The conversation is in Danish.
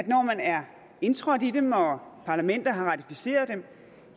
når man er indtrådt i dem og parlamenterne har ratificeret dem